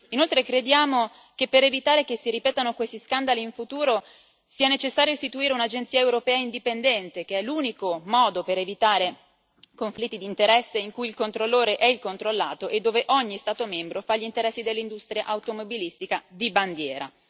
Inoltre crediamo che per evitare che si ripetano questi scandali in futuro sia necessario istituire un'agenzia europea indipendente, che è l'unico modo per evitare conflitti di interesse, in cui il controllore è il controllato e dove ogni Stato membro fa gli interessi dell'industria automobilistica di bandiera.